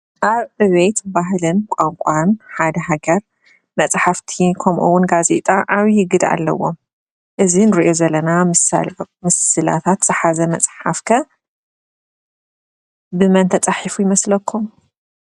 ኣብ ዕቤት፣ ባህልን፣ ቋንቋ ሓንቲ ሃገር መፅሓፍቲ ከምኡ እውን ጋዜጣ ዓብይ ግደ ኣለዎም። እዚ እንሪኦ ዘለና ምስላታት ዝሓዘ መፅሓፍ ከ ብመን ተፃሒፉ ይመስለኹም ?